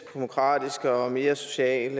demokratiske og mere sociale